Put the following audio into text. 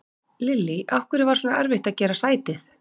Lillý: Af hverju var svona erfitt að gera sætið?